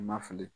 Ma fili